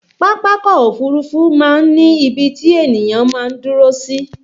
Pápákọ̀ òfurufú máa ń ní ibi tí ènìyàn máa ń dúró sí